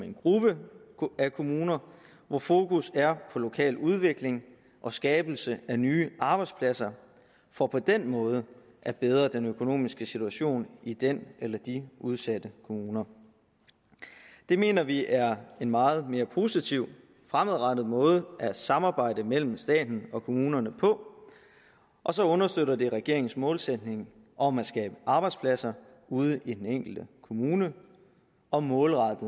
en gruppe af kommuner hvor fokus er på lokaludvikling og skabelse af nye arbejdspladser for på den måde at bedre den økonomiske situation i den eller de udsatte kommuner det mener vi er en meget mere positiv og fremadrettet måde at samarbejde mellem staten og kommunerne på og så understøtter den regeringens målsætning om at skabe arbejdspladser ude i den enkelte kommune og målrette